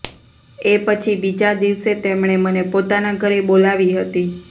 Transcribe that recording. એ પછી બીજા દિવસે તેમણે મને પોતાના ઘરે બોલાવી હતી